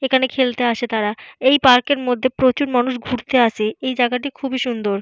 এখানে খেলতে আসে তারা এই পার্কের মধ্যে প্রচুর মানুষ ঘুরতে আসে এই জাগাটি খুবই সুন্দর।